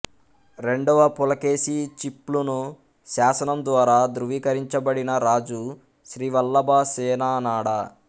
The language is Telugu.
రెండవ పులకేశి చిప్లును శాసనం ద్వారా ధృవీకరించబడిన రాజు శ్రీవల్లభ సేననాడ